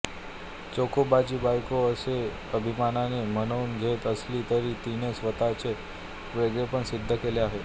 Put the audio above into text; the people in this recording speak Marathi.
चोखोबाची बायको असे अभिमानाने म्हणवून घेत असली तरी तिने स्वतःचे वेगळेपण सिद्ध केले आहे